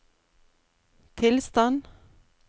tilstand